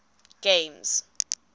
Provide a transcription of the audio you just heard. games